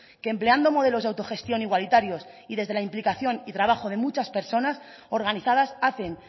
que empleando modelos de autogestión igualitarios y desde la implicación y trabajo de muchas personas organizadas hacen